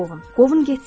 Qovun getsin.